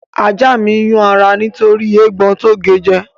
Ajá mi ń yún ara nítorí eégbọn tó ge jẹ